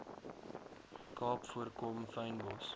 kaap voorkom fynbos